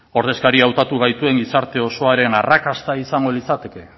ordezkari hautatu gaituen gizarte osoaren arrakasta izango litzateke